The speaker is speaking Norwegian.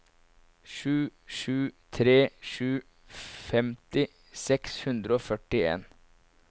sju sju tre sju femti seks hundre og førtien